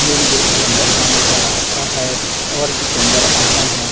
Main gate से अंदर जाने का रास्ता है और भी सुंदर आइटम है।